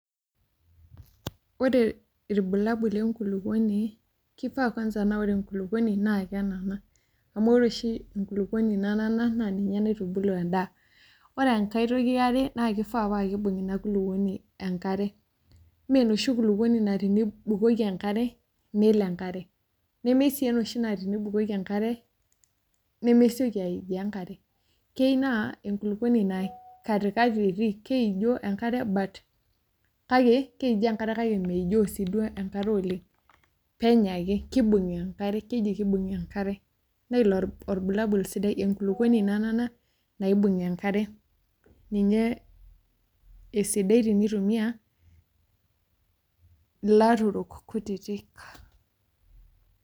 Ore ilbulabul lenkulukuoni, kifaa kwanza na ore enkulukuoni naa kenana. Amu ore oshi enkulukuoni nanana, naa ninye naitubulu endaa. Ore enkae toki eare, na kifaa pa kibung' ina kulukuoni enkare. Menoshi kulukuoni na tenibukoki enkare, nelo enkare. Nemesii enoshi naa tenibukoki enkare, nemesioki aijoo enkare. Keu naa enkulukuoni naa katikati etii, keijoo enkare but kake, keijo enkare kake meijo si duo enkare oleng. Penyo ake. Kibung' enkare. Keji kibung' enkare. Nailo orbulabul sidai, enkulukuoni nanana, naibung' enkare. Ninye esidai tenitumia ilaturok kutitik.